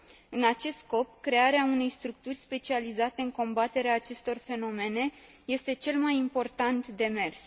În acest scop, crearea unei structuri specializate în combaterea acestor fenomene este cel mai important demers.